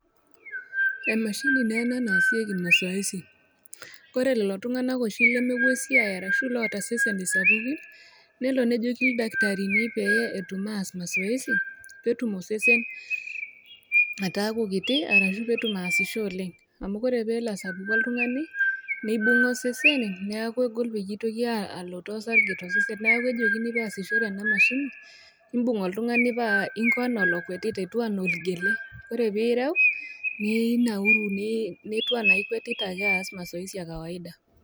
Emashini naa ena naasieki mazoezi kore lelo tung'ana oshi lemewuo esiai aashu loota iseseni sapuki, newuo nejoki ildaktarini pee etum aas mazoezi, peetum osesen ataaku kiti ashu peetum aasisho oleng, amu ore peelo asapuku oltung'ani, neibung'a osesen neaku egol peye eitoki alotoo osarge to sesen, neaku ejokini peasishore ena mashine, imbung oltung'ani paa inko anaa olokwetita etiu anaa olgele, ore piireu, ninauru, netiu anaa ikwetita ake aas mazoezi ekawaida.